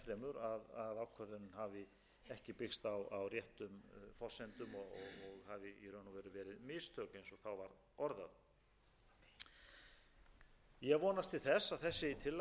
og veru verið mistök eins og þá var orðað ég vonast til þess að þessi tillaga fái góðar